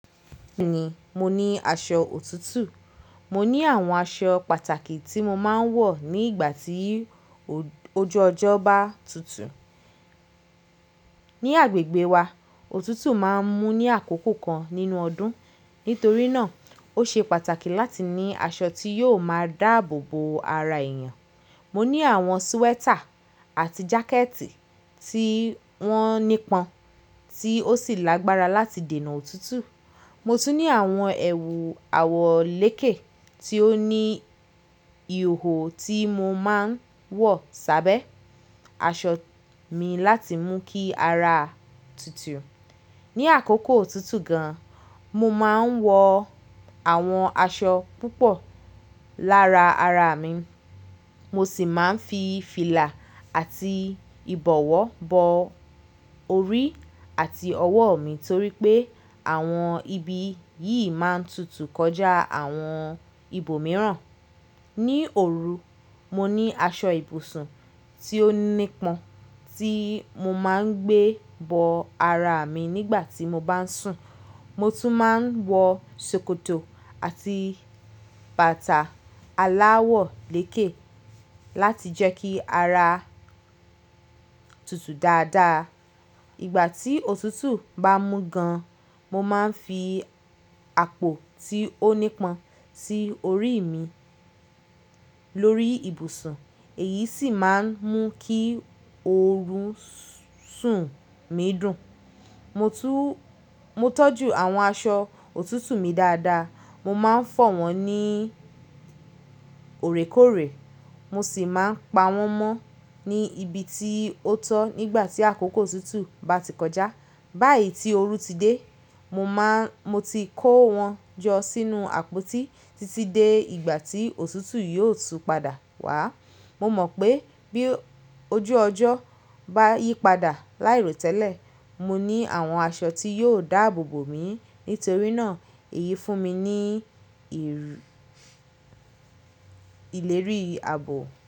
Bẹ́ẹ̀ni mo ní aṣọ òtútù. Mo ní àwọn aṣọ pàtàkì tí mo máa ń wọ̀ ní ìgbà tí ojú ọjọ́ bá tutù. Ni agbègbè wa, òtútù máa ń mú ní àkókò kan nínú ọdún. Nítorí náà, ó ṣe pàtàkì láti ní aṣọ tí yóò máa dáàbò bo ara èèyàn. Mo ní àwọn swẹ́tà àti jákẹ́ẹ̀tì tí wọ́n nípọn, tí ó sì lágbára láti dènà òtútù. Mo tún ní àwọn ẹ̀wù àwọ̀ lékè tí ó ní ìhò tí mo máa ń wọ̀ sábẹ́ aṣọ mi láti mú kí ara tutù. Ni àkókò òtútù gan, mo máa ń wọ àwọn aṣọ púpọ̀ lára ara mi, mo sì máa ń fi fìlà àti ìbọ̀wọ́ bọ orí àti ọwọ́ mi torí pé àwọn ibi yìí máa ń tutù kọjá àwọn ibòmíràn. Ni òru, mo ní aṣọ ibùsùn tí ó nípọn tí mo máa ń gbé bọ ara mi nígbà tí mo bá ń sùn. Mo tún máa ń wọ sòkòtò àti bàtà aláwọ̀ lékè láti jẹ́ kí ara tutù dáadáa. Ìgbà tí òtútù bá mú gan, mo máa ń fi àpò tí ó nípọn sí orí mi lórí ibùsùn èyí sì máa ń mú kí oorun sùn mi dùn. Mo tún, mo tọ́jú àwọn aṣọ òtútù mi dáadáa. Mo máa ń fọ̀ wọ́n ní òrèkóòrè, mo sì máa ń pa wọ́n mọ́ ní ibi tí ó tọ́ nígbà tí àkókò òtútù bá ti kọjá. Báyi tí oorun ti dé, mo máa, mo ti kó wọn jọ sínú àpótí títí dé ìgbà tí òtútù yóò tún padà wá. Mo mọ̀ pé bí ojú ọjọ́ bá yípadà láìròtẹ́lẹ̀, mo ní àwọn aṣọ tí yóò dáàbò bo mi nítorí náà èyí fún mi ní ìrù, ìlérí ààbò.